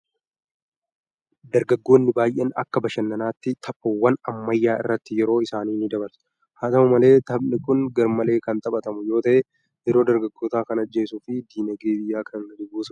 Dargaggoonni baay'een akka bashannanaatti taphawwan ammayyaa irratti yeroo isaanii ni dabarsu. haa ta'u malee, taphni kun garmalee kan taphatamu yoo ta'e yeroo dargaggootaa kan ajjeesuu fi dinagdee biyyaa kan gadi buusudha!